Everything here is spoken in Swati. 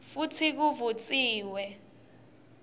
futsi kuvutsiwe